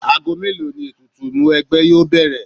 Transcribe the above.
Ago mélòó ni ètùtù Ìmúwẹgbẹ́ yóò bẹ̀rẹ̀?